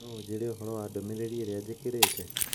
no ũnjĩĩre ũhoro wa ndũmĩrĩri ĩrĩa jikerete